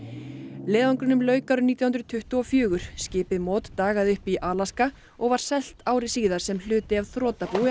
leiðangrinum lauk árið nítján hundruð tuttugu og fjögur skipið dagaði uppi í Alaska og var selt ári síðar sem hluti af þrotabúi